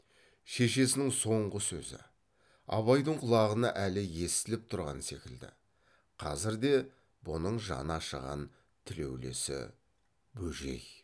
шешесінің соңғы сөзі абайдың құлағына әлі естіліп тұрған секілді қазірде бұның жаны ашыған тілеулесі бөжей